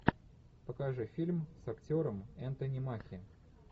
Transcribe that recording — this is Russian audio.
покажи фильм с актером энтони маки